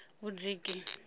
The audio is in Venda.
vhudziki